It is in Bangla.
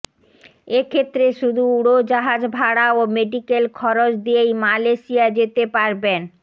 এ ক্ষেত্রে শুধু উড়োজাহাজভাড়া ও মেডিকেল খরচ দিয়েই মালয়েশিয়া যেতে পারবেন